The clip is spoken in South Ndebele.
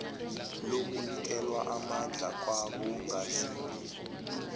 lokunikelwa amandla kwabongazimbi